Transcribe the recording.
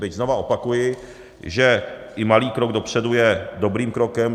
Byť, znovu opakuji, že i malý krok dopředu je dobrým krokem.